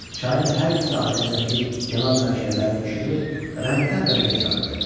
Çayın hər iki sahilindəki yanan məşəllərin işığı rəngdən-rəngə çalırdı.